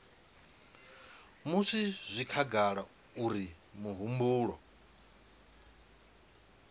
musi zwi khagala uri mihumbulo